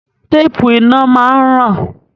Téèpù iná máa ń ràn.